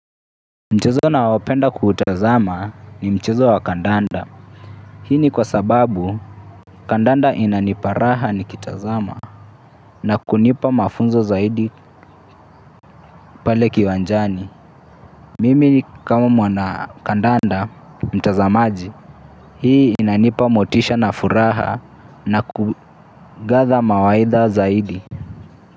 Mchezo naopenda kutazama ni mchezo wa kandanda. Hii ni kwa sababu kandanda inanipa raha nikitazama. Na kunipa mafunzo zaidi pale kiwanjani. Mimi kama mwana kandanda mtazamaji. Hii inanipa motisha na furaha na ku gather mawaidha zaidi.